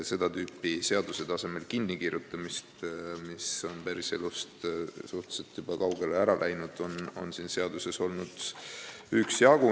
Seda tüüpi seaduse tasemel kinnikirjutamist, mis on päris elust suhteliselt kaugele läinud, on siin seaduses üksjagu.